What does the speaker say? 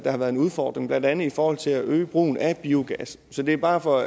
har været en udfordring blandt andet i forhold til at øge brugen af biogas så det er bare for